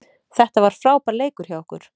Þetta var frábær leikur hjá okkur